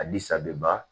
A ni sabɛ